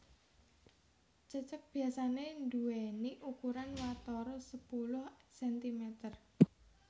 Cecek biasané nduwèni ukuran watara sepuluh sentimeter